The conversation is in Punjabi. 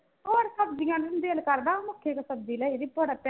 ਹੋਰ ਸਬਜ਼ੀਆਂ ਨੂੰ ਨੀ ਦਿਲ ਕਰਦਾ ਉਹ ਸਬਜ਼ੀ ਲਈ ਭੋਰਾ